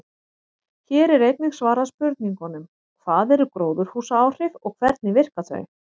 Hér er einnig svarað spurningunum: Hvað eru gróðurhúsaáhrif og hvernig virka þau?